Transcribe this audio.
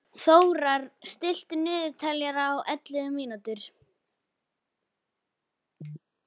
Þórar, stilltu niðurteljara á ellefu mínútur.